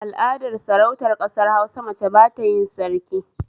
A al'adar Sarautar ƙasar Hausa mace batayin Sarki